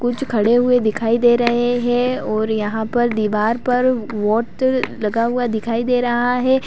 कुछ खड़े हुए दिखाई दे रहे हैं और यहां पर दीवार पर लगा हुआ दिखाई दे रहा है।